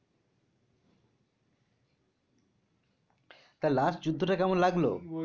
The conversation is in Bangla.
তা last যুদ্ধটা কেমন লাগলো?